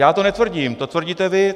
Já to netvrdím, to tvrdíte vy.